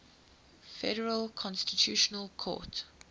federal constitutional court